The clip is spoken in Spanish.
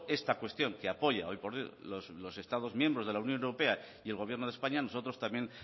esta cuestión que apoya hoy por hoy los estados miembros de la unión europea y el gobierno de españa nosotros también